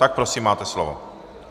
Tak prosím, máte slovo.